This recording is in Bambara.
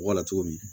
Wala cogo min